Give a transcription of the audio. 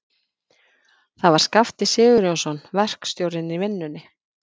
Það var Skafti Sigurjónsson, verkstjórinn í vinnunni.